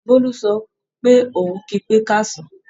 Bólú sọ pé òun kí pé káàsán